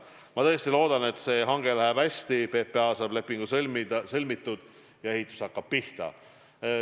Ma tõesti loodan, et see hange läheb hästi, PPA saab lepingu sõlmitud ja ehitus hakkab pihta.